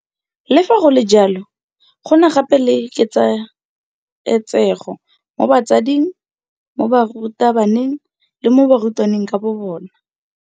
Le fa go le jalo, go na gape le ketsaetsego mo batsading, mo barutabaneng le mo barutwaneng ka bobona.